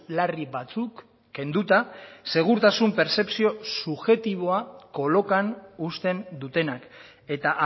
larri batzuk kenduta segurtasun pertzepzio subjektiboa kolokan uzten dutenak eta